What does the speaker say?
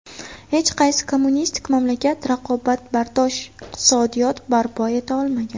Hech qaysi kommunistik mamlakat raqobatbardosh iqtisodiyot barpo eta olmagan.